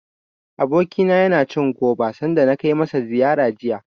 Abokina yana cin goba, sanda na kai masa ziyara jiya.